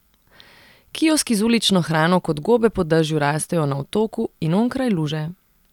Kioski z ulično hrano kot gobe po dežju rastejo na Otoku in onkraj luže.